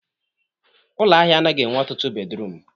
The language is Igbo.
Ụlọ ahịa anaghị enwe ọtụtụ bedruum